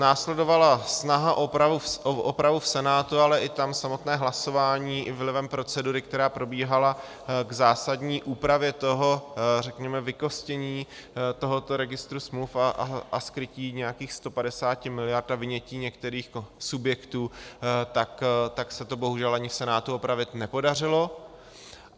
Následovala snaha o opravu v Senátu, ale i tam samotné hlasování i vlivem procedury, která probíhala, k zásadní úpravě toho řekněme vykostění tohoto registru smluv a skrytí nějakých 150 miliard a vynětí některých subjektů, tak se to bohužel ani v Senátu opravit nepodařilo.